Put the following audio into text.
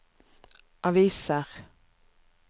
aviser